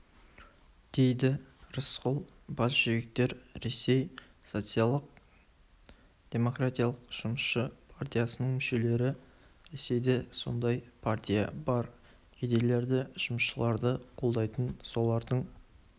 дейді рысқұл большевиктер ресей социал-демократиялық жұмысшы партиясының мүшелері ресейде сондай партия бар кедейлерді жұмысшыларды қолдайтын солардың